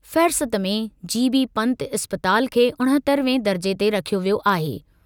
फेहिरिस्त में चीनी पंत इस्पताल खे उणहतरहें दर्जे ते रखियो वियो आहे।